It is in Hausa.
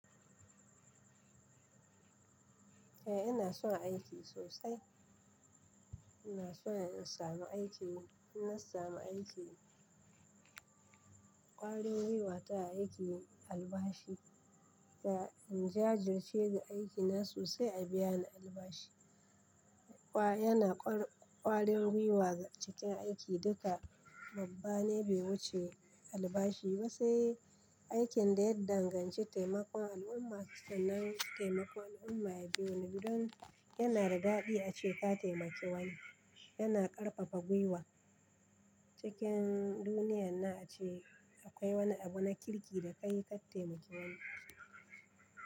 Eh ina son aiki sosai, ina son in samu aikin yi. In na sami aiki ƙwarin gwiwa ta aiki albashi. Da in jajirce da aikina sosai a biya na albashi. Yana ƙwarin gwiwa cikin aiki duka babban ne bai wuce albashi. Ma se aikin da ya danganci taimakon al'umma sannan taimakon al'umma ya biye mun, don yana da daɗi ace ka taimaki wani yana ƙarfafa gwiwa cikin duniyar na a ce akwai wani abu na kirki da ka yi ka taimaki wani.